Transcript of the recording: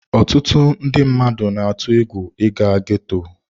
Ọtụtụ ndị mmadụ na-atụ egwu ịga ghetto.